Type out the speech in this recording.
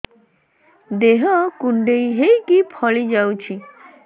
ଦେହ କୁଣ୍ଡେଇ ହେଇକି ଫଳି ଯାଉଛି